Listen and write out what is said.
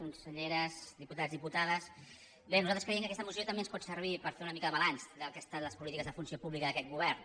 conselleres diputats diputades bé nosaltres creiem que aquesta moció també ens pot servir per fer una mica de balanç del que han estat les polítiques de funció pública d’aquest govern